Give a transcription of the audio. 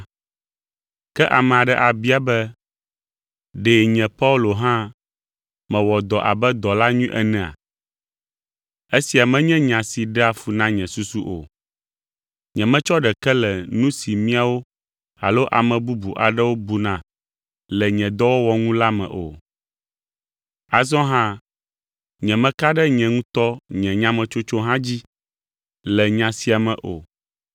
Ke ame aɖe abia be, ɖe nye Paulo hã mewɔ dɔ abe dɔla nyui enea? Esia menye nya si ɖea fu na nye susu o. Nyemetsɔ ɖeke le nu si miawo alo ame bubu aɖewo buna le nye dɔwɔwɔ ŋu la me o. Azɔ hã nyemeka ɖe nye ŋutɔ nye nyametsotso hã dzi le nya sia me o.